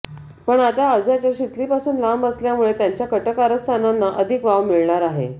पण आता अज्याच शितलीपासून लांब असल्यामुळे यांच्या कटकारस्थानांना अधिक वाव मिळणार आहे